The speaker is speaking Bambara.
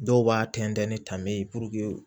Dɔw b'a tɛntɛn ni tan bɛ ye